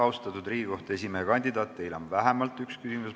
Austatud Riigikohtu esimehe kandidaat, teile on vähemalt üks küsimus.